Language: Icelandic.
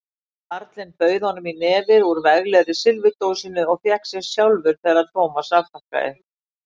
Karlinn bauð honum í nefið úr veglegri silfurdósinni og fékk sér sjálfur þegar Thomas afþakkaði.